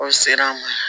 Aw ser'an ma